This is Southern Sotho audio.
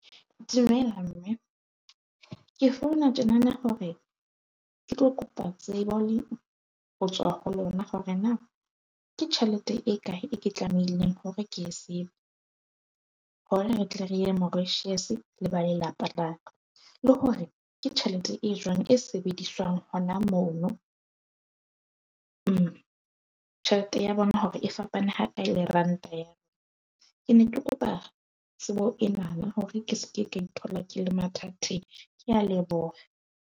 Dumela mme ke founa tjena na hore ke tlo kopa tsebo le ho tswa ho lona, hore na ke tjhelete e kae e ke tlamehileng hore ke e save hore re tle re ya Mauritius, le ba lelapa baka la ka. Le hore ke tjhelete e jwang e sebediswang. Hona mono, tjhelete ya bona hore e fapane ha kae le ranta. Ke ne ke kopa tsebo ena na hore ke se ke ka ithola ke le mathateng. Ke a leboha.